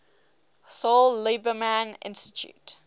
saul lieberman institute